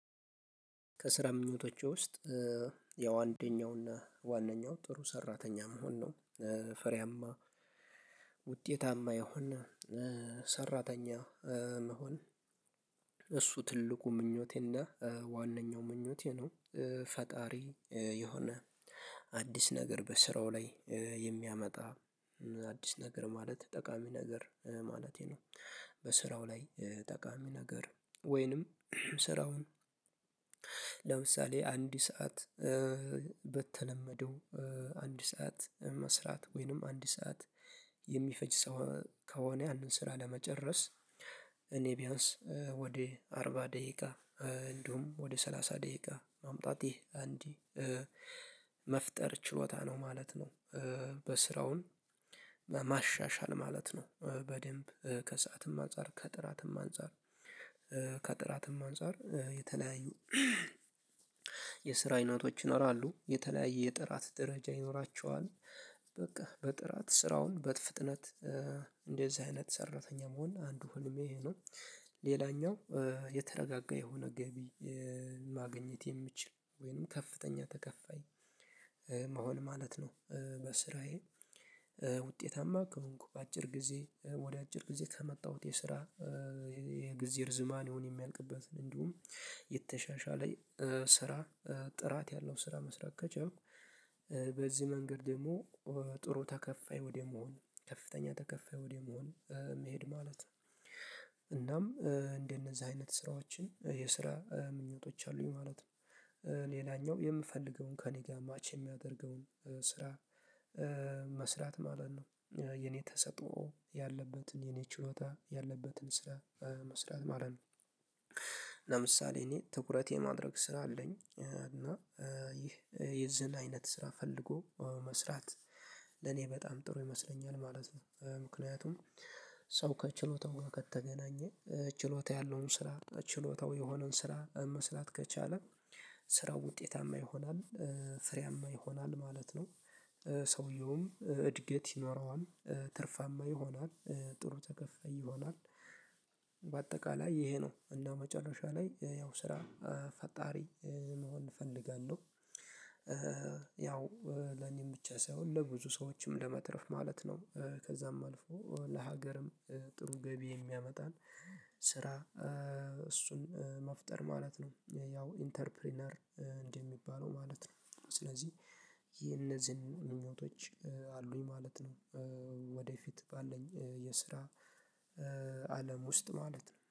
ከስራ ምኞቶቼ ውስጥ ያው አንደኛውና ዋናው ጥሩ ሰራተኛ መሆን ነው ፈሪያማ ውጤታማ ይሆናል ሰራተኛ መሆን እሱ ትልቁ ምኞቴና ዋነኛው ምኞቴ ነው። ፈጣሪ የሆነ አዲስ ነገር በስራው ላይ የሚያመጣ አዲስ ነገር ማለት ጠቃሚ ነገር ማለቴ ነው። በስራው ላይ ጠቃሚ ነገር ወይንም ስራውን ለምሳሌ አንድ ሰዓት በተለመደው አንድ ሰዓት መስራት ወይንም አንድ ሰዓት የሚፈጅ ሰው ከሆነ ያንን ስራ ለመጨረስ እኔ ቢያንስ አርባ ደቂቃ እንዲሁም ወደ ሰላሳ ደቂቃ ማምጣት ይህ አንድ መፍጠር ችሎታ ነው ማለት ነው። በስራውን በማሻሻል ማለት ነው በደንብ ከሰአትም አንፃር ከጥራትም አንፃር ከጥራትም አንፃር የተለያዩ የስራ አይነቶች ይኖራሉ የተለያየ የጥራት ደረጃ ይኖራቸዋል በቃ በጥራት ስራውን በፍጥነት እንደዚህ አይነት ሰራተኛ መሆን አንዱ ህልሜ ይሄ ነው። ሌላኛው የተረጋጋ የሆነ ገቢ ማግኘት የሚችል ወይንም ከፍተኛ ተከፋይ ማለት ነው። በስራዬ ውጤታማ ከሆንኩ በአጭር ጊዜ ወደ አጭር ጊዜ ከመጣሁት የስራ የጊዜ እርዝማን ይሁን የሚያልቅበትን እንዲሁም የተሻሻለ ስራ ጥራት ያለው ስራ መስራት ከቻይም በዚህ መንገድ ደግሞ ጥሩ ተከፋይ ወደ መሆን ከፍተኛ ተከፋይ ወደ መሆን መሄድ ማለት ነው። እናም እንደነዛ አይነት ስራዎችን የስራ ምኞቶች አሉኝ ማለት ነው። ሌላኛው የምፈልገውን ከእኔ ጋር ማች የሚያደርገውን ስራ መስራት ማለት ነው። የኔ ተሰጦ ያለበትን የኔ ችሎታ ያለበትን ስራ መስራት ማለት ነው። ለምሳሌ እኔ ትኩረት የማድረግ ስራ አለኝ እና ይህ የዚህን አይነት ስራ ፈልጎ መስራት ለኔ በጣም ጥሩ ይመስለኛል ማለት ነው ምክንያቱም ሰው ከችሎታው ከተገናኘ ችሎታ ያለውን ስራ ችሎታው የሆነን ስራ መስላት ከቻለ ስራው ውጤታማ ይሆናል ፍሬያማ ይሆናል ማለት ነው። ሰውየውም እድገት ይኖረዋል ትርፋማ ይሆናል ጥሩ ተከፋይ ይሆናል። በአጠቃላይ ይሄ ነው እና መጨረሻ ላይ ያው ስራ ፈጣሪ መሆን እፈልጋለሁ። ያው ለኔም ብቻ ሳይሆን ለብዙ ሰዎችም ለመትረፍ ማለት ነው ከዛም አልፎ ለሀገርም ጥሩ ገቢ የሚያመጣን ስራ መፍጠር ማለት ነው ያው ኢንተርፕረነር እንደሚባለው ማለት ነው ስለዚህ የእነዚህን ምኞቶች አሉኝ ማለት ነው። ወደፊት ባለኝ የስራ አለም ውስጥ ማለት ነው